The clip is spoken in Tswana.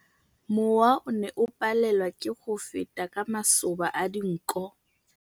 Mowa o ne o palelwa ke go feta ka masoba a dinko.